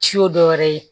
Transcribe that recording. Si y'o dɔwɛrɛ ye